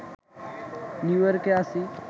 নিউইয়র্কে আছি